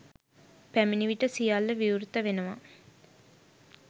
පැමිණි විට සියල්ල විවෘත වෙනවා.